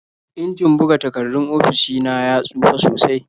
Injin buga takardun ofishi na ya tsufa sosai.